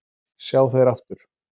sjá þeir aftur